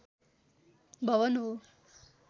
भवन हो